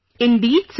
Indeed Sir